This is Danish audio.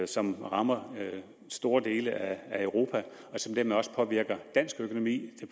som rammer store dele af europa og som dermed også påvirker dansk økonomi